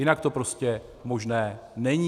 Jinak to prostě možné není.